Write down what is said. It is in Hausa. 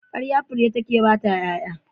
Ƙarya fure take bata ƴaƴa.